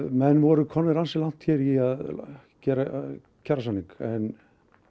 menn voru komnir ansi langt hér í að gera kjarasamning en